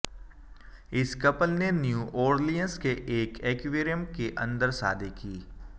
इस कपल ने New Orleans के एक एक्वेरियम के अंदर शादी की